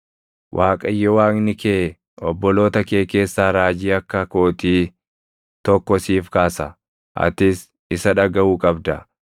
Waaqayyo Waaqni kee obboloota kee keessaa raajii akka kootii tokko siif kaasa. Atis isa dhagaʼuu qabda.